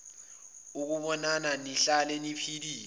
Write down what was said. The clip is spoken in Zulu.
ukunibona nihlale niphilile